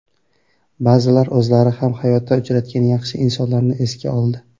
Ba’zilar o‘zlari ham hayotda uchratgan yaxshi insonlarni esga oldi.